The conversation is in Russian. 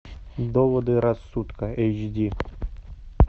доводы рассудка эйч ди